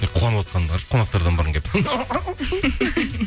қуанып отырғанымды қарашы қонақтардан бұрын келіп